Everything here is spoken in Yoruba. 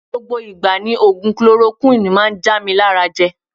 Gbogbo igba ni ogun Kolorokuwini maa n ja mi je lara.